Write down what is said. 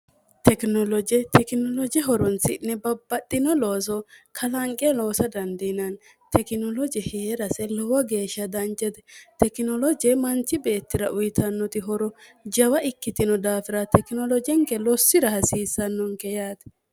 tekinoloje tekinoloji horunsi'ne babbaxxino looso kalanqe noosa dandiinanni tekinoloji hee'rase lowo geeshsha danjete tekinoloje manchi beettira uyitannoti horo jawa ikkitino daafira tekinolojenke lossira hasiissannonke yaate